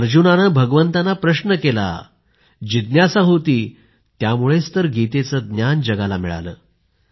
अर्जुनाने भगवानांना प्रश्न केला जिज्ञासा होती त्यामुळेच तर गीतेचं ज्ञान जगाला मिळाले